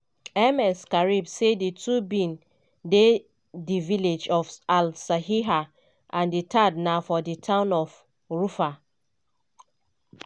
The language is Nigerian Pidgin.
ms karib say di two bin dey di village of al seriha and di third na for di town of of ruffa.